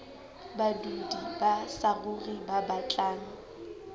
badudi ba saruri ba batlang